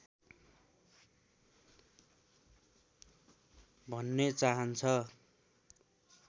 भन्ने चाहन्छ